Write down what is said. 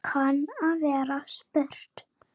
kann að vera spurt.